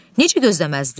Necə gözləməzdin?